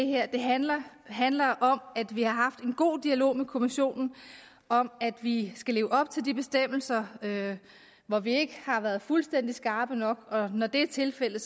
her handler handler om at vi har haft en god dialog med kommissionen om at vi skal leve op til de bestemmelser hvor vi ikke har været fuldstændig skarpe nok og når det er tilfældet